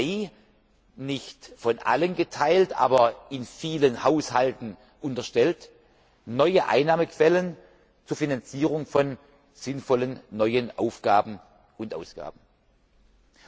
Und schließlich die nicht von allen geteilte, aber in vielen Haushalten unterstellte Erwartung, neue Einnahmequellen zur Finanzierung von sinnvollen neuen Aufgaben und Ausgaben zu